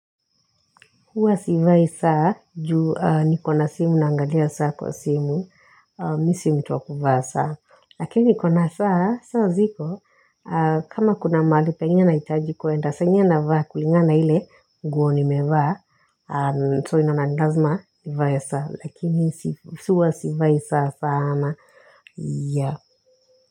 Huwa sivai saa, juu nikona simu naangalia saa kwa simu, mi si mtu wa kuvaa saa, lakini nikona saa, saa ziko, kama kuna mahali, penye nahitaji kuenda saa ingine navaa kulingana na ile nguo nimevaa, so unaona ni lazima, nivae saa, lakini huwa sivai saa sana, yeah.